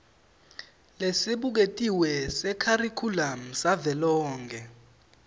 lesibuketiwe sekharikhulamu savelonkhe